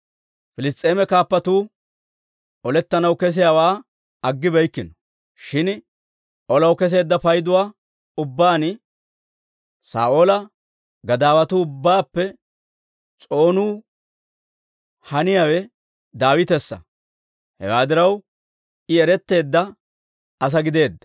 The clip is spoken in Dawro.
Piliss's'eeme kaappatuu olettanaw kesiyaawaa aggibeykkino; shin olaw kesseedda payduwaa ubbaan Saa'oola gadaawatuu ubbaappe s'oonuu haniyaawe Daawitessa; hewaa diraw, I eretteedda asaa gideedda.